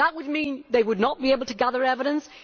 It would mean they would not be able to gather evidence